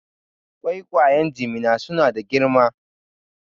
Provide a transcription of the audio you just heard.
Ƙwayaƙwan Jimina su na da girma